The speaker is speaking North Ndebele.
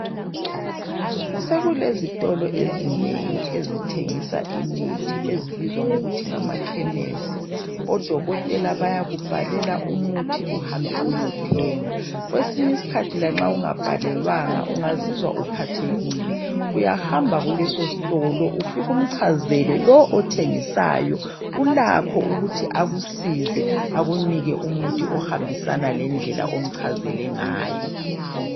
Sokulezitolo ezinengi ezithengisa imithi ezibizwa ngokuthi ngamakhemisi odokotela bayakubhalela umuthi uhambe uyothenga kwesinye isikhathi lanxa ungabhalelwanga ungazizwa uphathekile uyahamba kuleso sitolo ufike umchazele lo othengisayo ulakho okuthi akusize akunike umuthi ohambisana lendlela omchazele ngayo